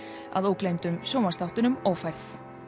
að ógleymdum sjónvarpsþáttunum ófærð